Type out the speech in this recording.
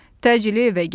Təcili evə gəlin.